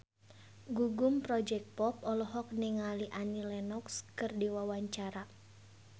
Gugum Project Pop olohok ningali Annie Lenox keur diwawancara